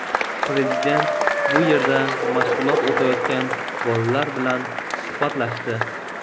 Prezident bu yerda mashg‘ulot o‘tayotgan bolalar bilan suhbatlashdi.